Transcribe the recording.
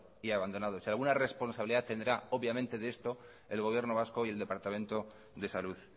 y abandonados y alguna responsabilidad tendrá obviamente de esto el gobierno vasco y el departamento de salud